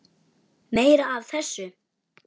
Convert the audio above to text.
Meira af þessu!